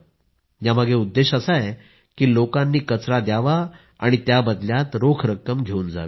यामागे उद्देश असा आहे की लोकांनी कचरा द्यावा आणि त्या बदल्यात रोख रक्कम घेवून जावी